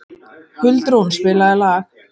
Huldrún, spilaðu lag.